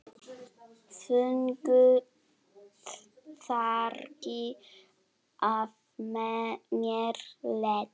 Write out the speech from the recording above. Þungu fargi af mér létt.